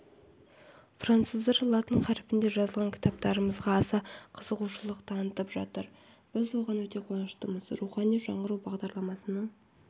француздар латын қаріпінде жазылған кітаптарымызға аса қызығушылық танытып жатыр біз оған өте қуаныштымыз рухани жаңғыру бағдарламасының